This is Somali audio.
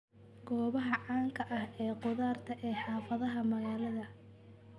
Goobaha caanka ah ee khudaarta ee xaafadaha magaalada.